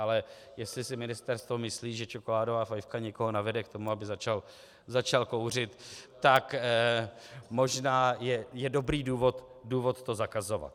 Ale jestli si ministerstvo myslí, že čokoládová fajfka někoho navede k tomu, aby začal kouřit, tak možná je dobrý důvod to zakazovat.